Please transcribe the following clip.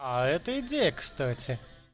а это идея кстати